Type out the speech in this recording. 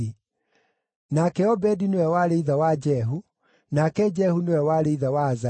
nake Obedi nĩwe warĩ ithe wa Jehu, nake Jehu nĩwe warĩ ithe wa Azaria,